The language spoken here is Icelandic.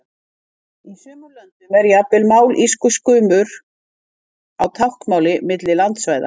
Í sumum löndum er jafnvel mállýskumunur á táknmáli milli landsvæða.